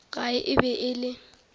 gae e be e le